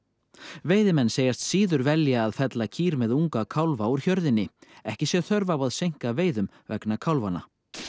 veiðimenn segjast síður velja að fella kýr með unga kálfa úr hjörðinni ekki sé þörf á að seinka veiðum vegna kálfanna